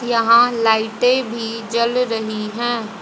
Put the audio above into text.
यहां लाइटे भी जल रही है।